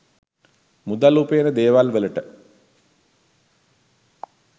මුදල් උපයන දේවල්වලට